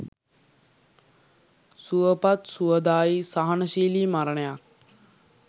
සුවපත්, සුවදායි, සහනශීලි මරණයක්